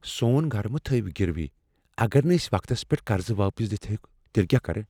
سون گرٕ مہٕ تھٲوِو گِروی ۔ اگر نہٕ اسۍ وقتس پیٹھ قرضہ واپس دتھ ہیوک تیلہِ كیاہ کرٕ ؟